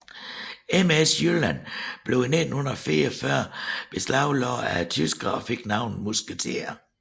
MS Jylland blev i 1944 beslaglagt af tyskerne og fik navnet Musketier